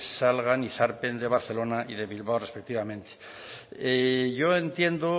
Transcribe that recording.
salgan y zarpen de barcelona y de bilbao respectivamente yo entiendo